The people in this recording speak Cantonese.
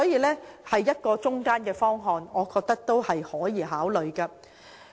這是一個折衷的方案，我認為值得考慮。